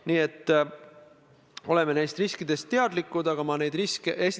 Selle põhjal ma eeldan, et ilmselt teil omavahelist jutuajamist veel olnud ei ole.